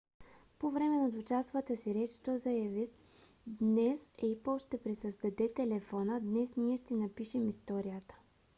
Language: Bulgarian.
по време на двучасовата си реч той заяви днес apple ще пресъздаде телефона днес ние ще напишем историята